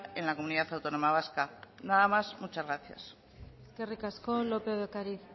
en la comunidad autónoma vasca nada más muchas gracias eskerrik asko lópez de ocariz